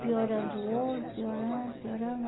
piorando o olho, piorando, piorando.